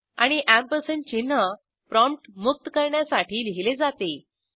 आणि एएमपी अँपरसँडचिन्ह प्रॉम्प्ट मुक्त करण्यासाठी लिहीले जाते